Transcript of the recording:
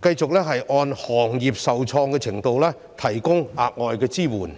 反而繼續按行業受創的程度提供額外支援。